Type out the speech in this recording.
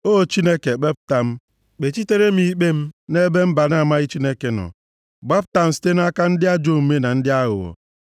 O Chineke, kpepụta m, kpechitere m ikpe m nʼebe mba na-amaghị Chineke nọ; gbapụta m site nʼaka ndị ajọ omume na ndị aghụghọ.